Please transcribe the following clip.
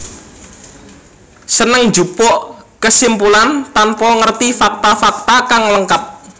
Seneng njupuk kesimpulan tanpa ngerti fakta fakta kang lengkap